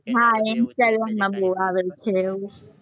હા, instagram માં બોવ આવે છે, એવું